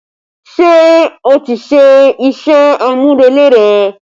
Ṣé o ti ṣe iṣẹ́ amurele rẹ